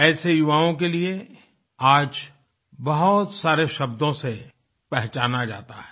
ऐसे युवाओं के लिए आज बहुत सारे शब्दों से पहचाना जाता है